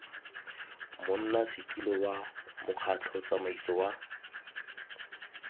monnasetilo wa mokgatlho tsamaiso wa